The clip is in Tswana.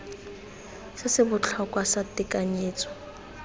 se se botlhokwa sa tekanyetso